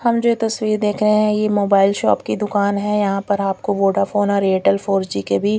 हम जो ये तस्वीर देख रहे हैं ये मोबाइल शॉप की दुकान है यहां पर आप को वोडाफोन और एयरटेल फोर जी के भी--